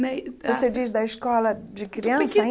Né e Você diz da escola de criança